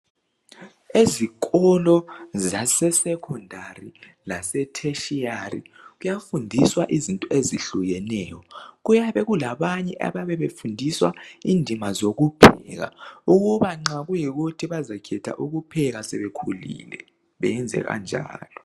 ezikolo zase secondary lase tertiary kuyafundiswa izinto ezihlukeneyo kuyabe kulabanye abayabe befundiswa indima zokupheka ukuba nxa kuyikuthi bazakhetha ukupheka sebekhulile beyenze kanjalo